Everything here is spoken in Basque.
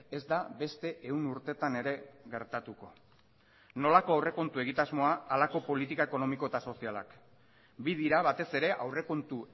ez da beste ehun urtetan ere gertatuko nolako aurrekontu egitasmoa halako politika ekonomiko eta sozialak bi dira batez ere aurrekontu